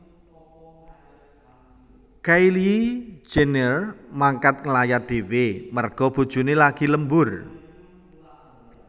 Kylie Jenner mangkat ngelayat dewe merga bojone lagi lembur